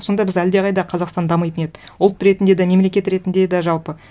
сонда біз әлдеқайда қазақстан дамитын еді ұлт ретінде де мемлекет ретінде де жалпы